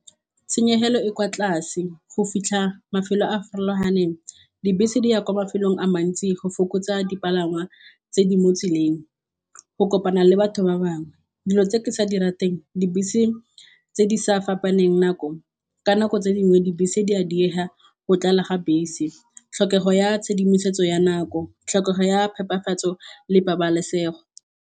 Tshenyegelo e kwa tlase go fitlha mafelo a a farologaneng dibese di ya kwa mafelong a mantsi go fokotsa dipalangwa tse di mo tseleng, go kopana le batho ba bangwe dilo tse ke sa di ratang teng dibese tse di sa fapaneng nako ka nako tse dingwe dibese di a diega, go tlala ga bese tlhokego ya tshedimosetso ya nako, tlhokego ya phepafatso le pabalesego.